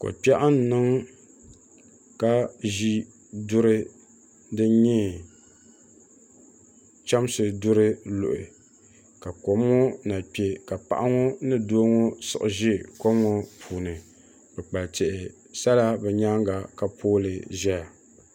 Ko kpɛɣu n niŋ ka zi duri dini nyɛ chɛmsi duri luhi ka kom ŋɔ na kpɛ ka paɣa ŋɔ ni doo ŋɔ siɣi zi kom ŋɔ puuni ka tihi sa la bi yɛanga ka pili saha.